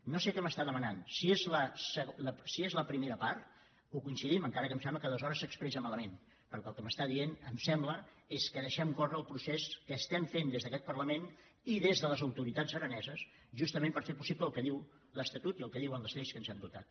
no sé què m’està demanant si és la primera part hi coincidim encara que em sembla que aleshores s’expressa malament perquè el que m’està dient em sembla és que deixem córrer el procés que estem fent des d’aquest parlament i des de les autoritats araneses justament per fer possible el que diu l’estatut i el que diuen les lleis de què ens hem dotat